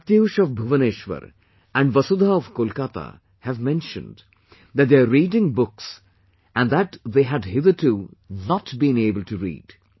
Pratyush of Bhubaneswar and Vasudha of Kolkata have mentioned that they are reading books that they had hitherto not been able to read